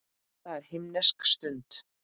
Það er himnesk stund.